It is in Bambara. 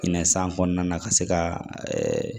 Minɛn san kɔnɔna na ka se ka